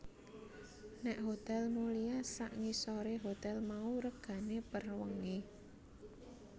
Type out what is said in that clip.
Nek Hotel Mulia sak ngisore hotel mau regane per wengi